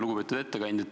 Lugupeetud ettekandja!